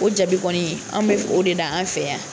O jaabi kɔni anw bɛ o de da an fɛ yan.